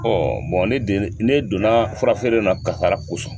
Ɔ bon ne ne donna fura feere in na kaaara kosɔn.